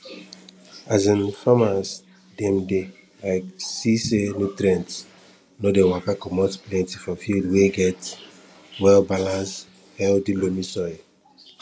um farmas dem dey um see sey nutrisin no dey waka commot plenty for field wey get wellbalance healthy loamy soil